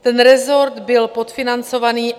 Ten resort byl podfinancovaný.